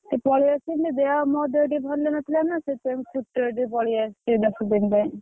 ଏଇ ପଳେଇ ଆସିଲି ଦେହ ମୋ ଦେହ ଟିକେ ଭଲ ନ ଥିଲା ନାଁ ସେଇଥିପାଇଁ ଛୁଟିରେ ଟିକେ ପଳେଈ ଆସିଛି ଦଶ ଦିନ ପାଇଁ।